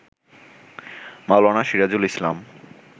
মাওলানা Sirajul ইসলাম